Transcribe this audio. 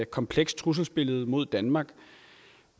komplekst trusselsbillede mod danmark